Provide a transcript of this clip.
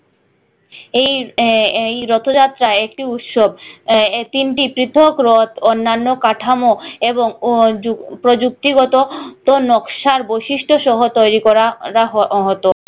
এই আহ এই রথ যাত্রা একটি উৎসব এই তিনটি পৃথক রথ অন্যান্য কাঠামো এবং ও যুক প্রযুক্তি গত ত নকশার বৈশিষ্ট সহ তৈরি করা রা হয় হতো